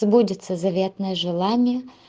сбудется заветное желание